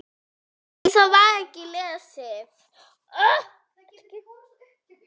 Þær heita á ensku